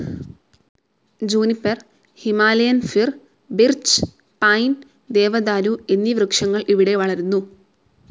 Juniper, Himalayan fir‍, birch, pine, ദേവദാരു എന്നീ വൃക്ഷങ്ങൾ ഇവിടെ വളരുന്നു.